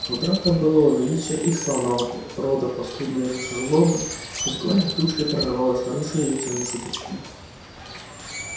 утрата былого величия их славного рода подспудной злобой жгла их души и прорывалась наружу язвительными шуточками